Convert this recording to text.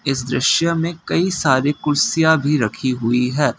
इस दृश्य में कई सारी कुर्सियां भी रखी हुई है।